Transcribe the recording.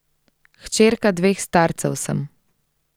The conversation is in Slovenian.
Hčerka dveh starcev sem.